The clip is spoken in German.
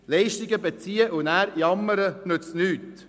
Leistungen zu beziehen und nachher zu jammern, nützt nichts.